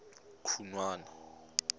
khunwana